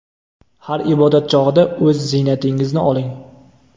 har ibodat chog‘ida o‘z ziynatingizni oling.